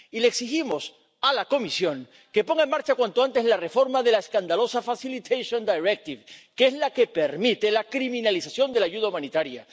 Y le exigimos a la Comisión que ponga en marcha cuanto antes la reforma de la escandalosa Directiva de ayuda, que es la que permite la criminalización de la ayuda humanitaria.